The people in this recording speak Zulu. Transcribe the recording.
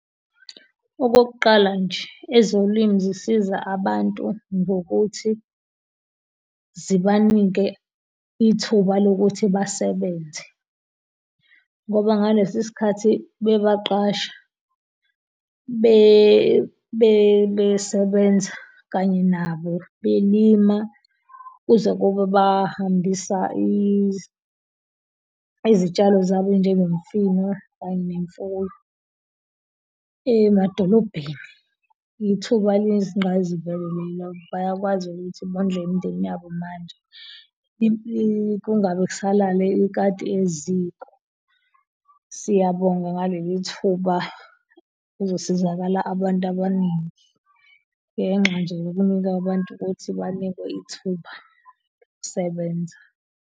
Okokuqala nje ezolimo zisiza abantu ngokuthi zibanike ithuba lokuthi basebenze ngoba ngalesi sikhathi bebaqasha besebenza kanye nabo belima kuze kube bahambisa izitshalo zabo njengemfino kanye nemfuyo emadolobheni ithuba eliyizinqayizivele lelo bayakwazi ukuthi bondle nemindeni yabo manje kungabe kusalala ikati eziko. Siyabonga ngaleli thuba kuzosizakala abantu abaningi ngenxa nje yokunika abantu ukuthi banikwe ithuba lokusebenza.